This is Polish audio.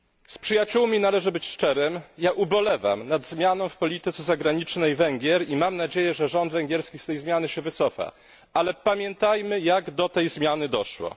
Z przyjaciółmi należy być szczerym, ja ubolewam nad zmianą w polityce zagranicznej Węgier i mam nadzieję, że rząd węgierski wycofa się z tej zmiany. Ale pamiętajmy, jak do tej zmiany doszło.